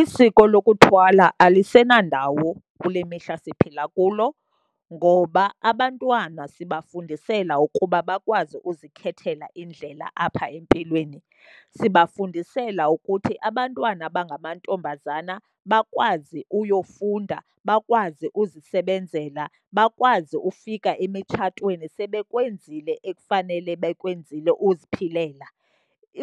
Isiko lokuthwala alisenandawo kule mihla siphila kulo, ngoba abantwana sibafundisela ukuba bakwazi ukuzikhethela indlela apha empilweni. Sibafundisela ukuthi abantwana abangamantombazana bakwazi uyofunda, bakwazi uzisebenzela, bakwazi ufika emitshatweni sebekwenzile ekufanele bekwenzile uziphilela.